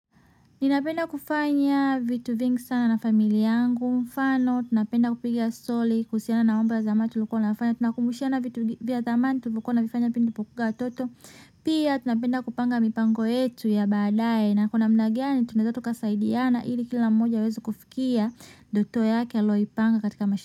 Ninapenda kufanya vitu vingi sana na familia yangu, mfano, tunapenda kupiga story, kuhusiana na mambo ya zamani tulikuwa tunafanya, tunakumbushana vitu vya zamani tulivyokuwa tunavifanya pindi tulipokuwanga watoto, pia tunapenda kupanga mipango yetu ya baadaye, na kwa namna gani, tunaweza tukasaidiana, ili kila mmoja aweze kufikia, ndoto yake aloipanga katika maisha.